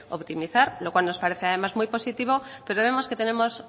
optimizar luego nos parece además muy positivo pero vemos que tenemos